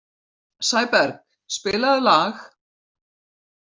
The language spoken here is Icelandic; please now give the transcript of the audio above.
Sæberg, spilaðu lag.